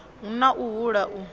hu na u hula u